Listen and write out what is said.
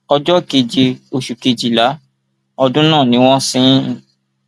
ọjọ keje oṣù kejìlá ọdún náà ni wọn sin ín